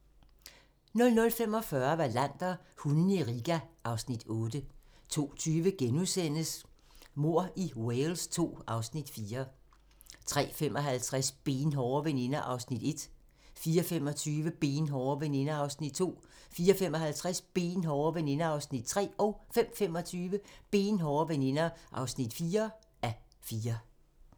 00:45: Wallander: Hundene i Riga (Afs. 8) 02:20: Mord i Wales II (Afs. 4)* 03:55: Benhårde veninder (1:4) 04:25: Benhårde veninder (2:4) 04:55: Benhårde veninder (3:4) 05:25: Benhårde veninder (4:4)